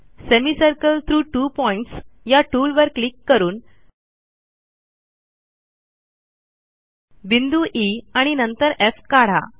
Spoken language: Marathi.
सेमिसर्कल थ्रॉग त्वो pointsया टूलवर क्लिक करून बिंदू ई आणि नंतर एफ काढा